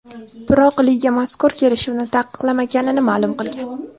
Biroq liga mazkur kelishuvni taqiqlamaganini ma’lum qilgan.